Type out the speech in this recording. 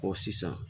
sisan